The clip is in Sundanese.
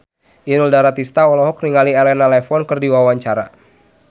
Inul Daratista olohok ningali Elena Levon keur diwawancara